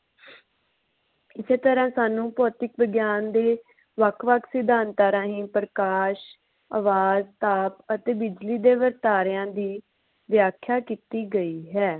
ਇਸੇ ਤਰ੍ਹਾਂ ਸਾਨੂ ਭੌਤਿਕ ਵਿਗਿਆਨ ਦੇ ਵੱਖ ਵੱਖ ਸਿਧਾਂਤਾਂ ਰਾਹੀਂ ਪ੍ਰਕਾਸ਼ ਆਵਾਜ਼ ਤਾਪ ਅਤੇ ਬਿਜਲੀ ਦੇ ਵਰਤਾਰਿਆਂ ਦੀ ਵਿਆਖਿਆ ਕੀਤੀ ਗਈ ਹੈ